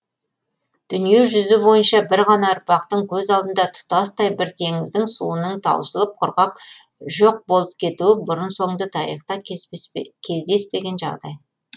дүние жүзі бойынша бір ғана ұрпақтың көз алдыңда тұтастай бір теңіздің суының таусылып құрғап жоқ болып кетуі бұрын соңды тарихта кездеспеген жағдай